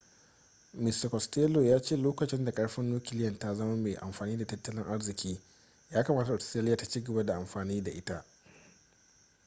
mista costello ya ce lokacin da karfin nukiliya ta zama mai amfani da tattalin arziki ya kamata australia ta ci gaba da amfani da ita